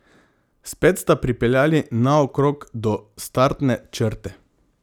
Spet sta pripeljali naokrog do startne črte.